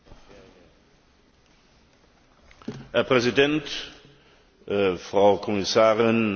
Herr Präsident, Frau Kommissarin, Herr Ratspräsident, Kolleginnen und Kollegen!